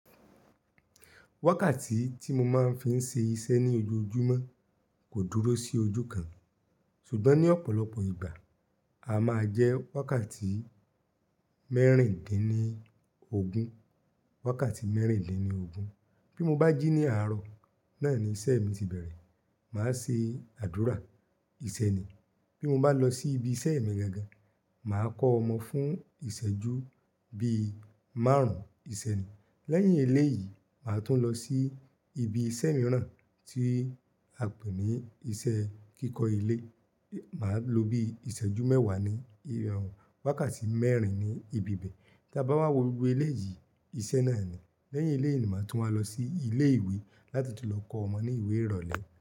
Wákàtí tí mo máa ń fi ń ṣe iṣẹ́ ní ojoojúmọ́ kò dúró sí ojú kan. Sugbọ́n ní ọ̀pọ̀lọpọ̀ ìgbà, a máa jẹ́ wákàtí mẹ́rìndínlógún, wákàtí mẹ́rìndínlógún. Bí mo bá jí ní àárọ̀, náà ni iṣẹ́ mi ti bẹ̀rẹ̀. Màá ṣe àdúrà, ìṣẹ́ ni. Bí mo bá lọ sí ibi iṣẹ́ mi gangan, màá kọ́ ọmọ fún ìsẹ́jú bí márùn, ìṣẹ́ ni. Lẹ́yìn eléyìí, màá tún lọ sí ibi iṣẹ́ mìíràn tí a pè ní iṣẹ́ kíkọ ilé. Màá lo bí ìsẹ́jú mẹ́wàá ní irẹ̀wẹ̀, wákàtí mẹ́rin ní ibi ibi. Tía bá ma wọ gbogbo eléyìí, iṣẹ́ náà ni. Lẹ́yìn eléyìí ni màá tún wá lọ sí ilé ìwé láti tún lọ kọ́ ọmọ ní ìwé ìrọ̀lẹ́